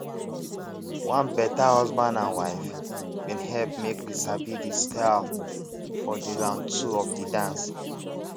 one better husband and wife bin help make we sabi de style for de round two of de dance